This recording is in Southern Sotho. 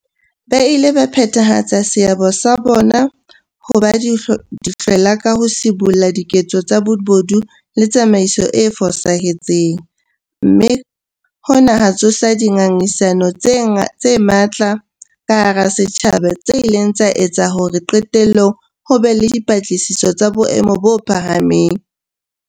Ba ile ba phethahatsa seabo sa bona sa ho ba dihlwela ka ho sibolla diketso tsa bobodu le tsamaiso e fosahetseng, mme hona ha tsosa dinga ngisano tse matla ka hara setjhaba tse ileng tsa etsa hore qetellong ho be le dipatlisiso tsa boemo bo phahameng.